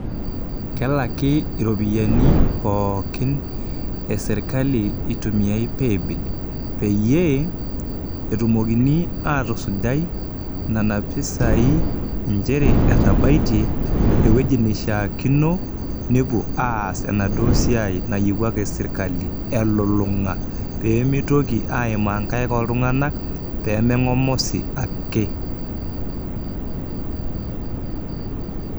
Kelaki iropiyiani pookin esirkali itumiay paybill peyie etumokini atusujai nena pisai inchere ewueji nishaakino , nepuo aas enaduoo siai nayiewuaki sirkali elulunga , peemitoki aimaa inkaik oltunganak peme mongosi ake.